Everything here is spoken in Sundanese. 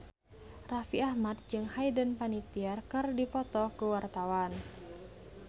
Raffi Ahmad jeung Hayden Panettiere keur dipoto ku wartawan